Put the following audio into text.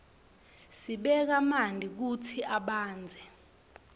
sibeka manti kutsi abandze